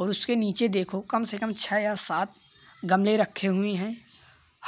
और उसके नीचे देखो कम से कम छः या सात गमले रखे हुए हैं।